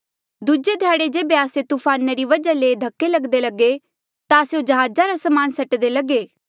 दूजे ध्याड़े जेबे आस्से तूफाना री वजहा ले धक्के लगदे लगे ता स्यों जहाजा रा समान सटदे लगे